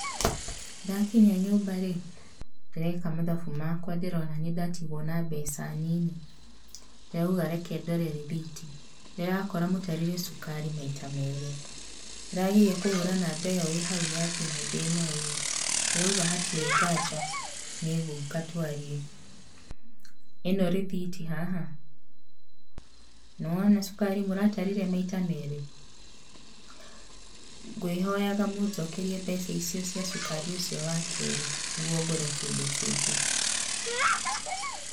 Ndakinya nyumba-rĩ, ndĩreka mathabu makwa ndĩrona nĩndatigwo na mbeca nyinyi. Ndĩrauga ndore rithiti, ndĩrakora mũtarire cũkari maita merĩ. Ndĩrageria kũhũra namba ĩyo ĩhau ya thimũ ndĩnoywo, ndirauga hatirĩ nganja nĩ ngũka twarie. Ĩno rithiti haha, nĩwona cũkari mũratarire maita merĩ? Ngwĩhoyaga mũnjokerie mbeca icio cia cukari wa kerĩ nĩguo ngũre kĩndũ kĩngĩ.